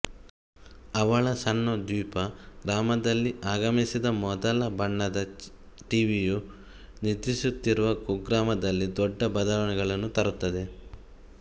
ಅವಳ ಸಣ್ಣ ದ್ವೀಪ ಗ್ರಾಮದಲ್ಲಿ ಆಗಮಿಸಿದ ಮೊದಲ ಬಣ್ಣದ ಟಿವಿಯು ನಿದ್ರಿಸುತ್ತಿರುವ ಕುಗ್ರಾಮದಲ್ಲಿ ದೊಡ್ಡ ಬದಲಾವಣೆಗಳನ್ನು ತರುತ್ತದೆ